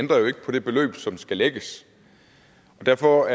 ændrer jo ikke på det beløb som skal lægges og derfor